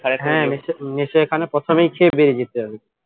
হ্যাঁ নিশ্চই এখানে প্রথমেই খেয়ে বেরিয়ে যেতে হবে